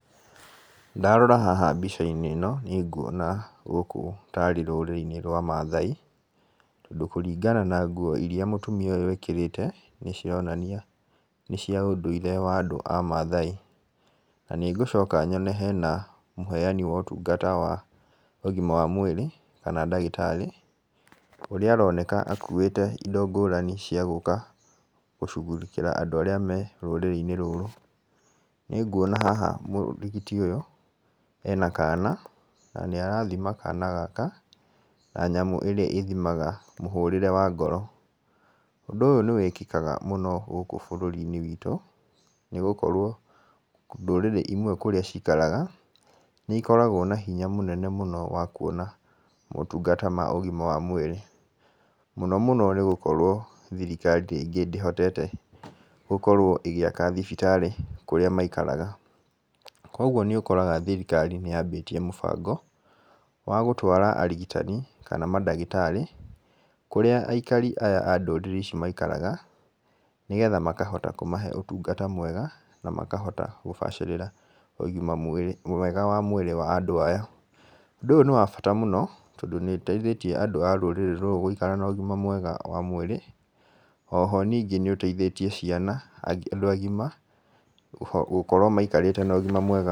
Ndarora haha mbica-inĩ ĩno niĩ nguona gũkũ ta arĩ rũrĩrĩ-inĩ rwa mathai, tondũ kũringana na nguo iria mũtumia ũyũ ekĩrĩte, nĩcironania nĩ cia ũndũire wa andũ a mathai. Na nĩngũcoka nyone hena mũheyani wa ũtungata wa ũgima wa mwĩrĩ kana ndagĩtarĩ, ũrĩa aroneka akuĩte indo ngũrani cia gũka gũcugurĩkĩra andũ arĩa marĩ rũrĩrĩ-inĩ rũrũ. Nĩnguona haha mũrigiti ũyũ ena kana, na nĩ arathima kana gaka na nyamũ ĩrĩa ĩthimaga mũhũrĩre wa ngoro. Ũndũ ũyũ nĩ wĩkĩkaga mũno gũkũ bũrũri-inĩ witũ, nĩgũkorwo ndũrĩrĩ imwe kũrĩa cikaraga nĩikoragwo na hinya mũnene mũno wa kuona motungata ma ũgima wa mwĩrĩ. Mũno mũno tondũ thirikari ndĩhotete gũkorwo ĩgĩaka thibitarĩ kũrĩa maikaraga. Koguo nĩ ũkoraga thirikari nĩ yambĩtie mũbango wa gũtwara arigitani, kana mandagĩtarĩ kũrĩa aikari a ndũrĩrĩ ici maikaraga, nĩgetha makahota kũmahe ũtungata mwega, na makahota kũbacĩrĩra ũgima mwega wa mwĩrĩ wa andũ aya. Ũndũ ũyũ nĩ wa bata mũno, tondũ nĩ ũteithĩtie andũ a rũrĩrĩ rũrũ gũikara na ũgima mwega wa mwĩrĩ, o ho nĩũteithĩtie ciana na andũ agima gũkorwo maikarĩte na ũgima mwega...